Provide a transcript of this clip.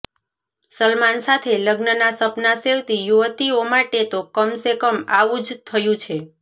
સલમાન સાથે લગ્નના સપના સેવતી યુવતીઓ માટે તો કમ સે કમ આવું જ થયું છે